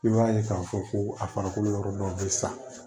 I b'a ye k'a fɔ ko a farikolo yɔrɔ dɔw bɛ sa